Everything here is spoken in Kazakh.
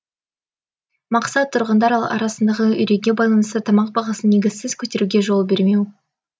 мақсат тұрғындар арасындағы үрейге байланысты тамақ бағасын негізсіз көтеруге жол бермеу